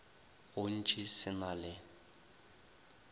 go ntši se na le